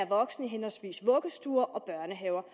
voksen i henholdsvis vuggestuer og børnehaver